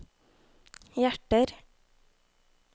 hjerter